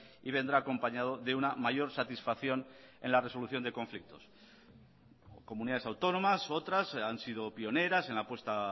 y vendrá acompañado de una mayor satisfacción en la resolución de conflictos comunidades autónomas otras han sido pioneras en la apuesta